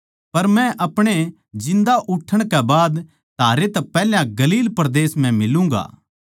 पर मै अपणे जिन्दा उठण कै बाद थारै तै पैहल्या गलील परदेस म्ह मिलूगाँ